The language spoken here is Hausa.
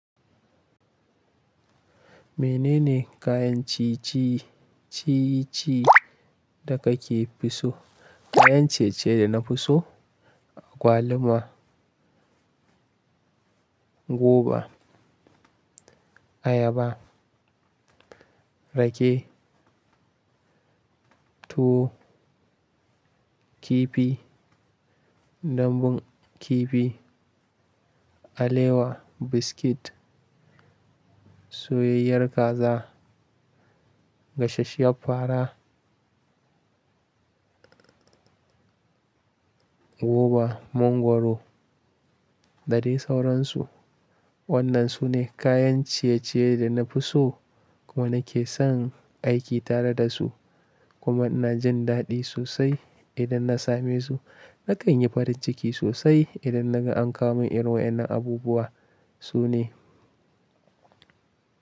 Menene kayan ciye-ciye da kake so? Kayan ciye-ciye da na fi so agwaluma, goba, ayaba, rake, tuwo, kifi, dambun kifi, alewa, biskit, soyayyiyar kaza, gasasshiyar fara, gova, mangwaro da dai sauransu. Waɗannan su ne kayan ciye-ciye da na fi so kuma nake son aiki tare da su kuma ina jin daɗi sosai idan na same su. Nakan yi farin ciki sosai idan na gan an kawo mini irin waɗannan abubuwa sune.